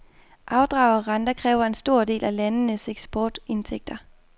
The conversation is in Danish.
Afdrag og renter kræver en stor del af landenes eksportindtægter.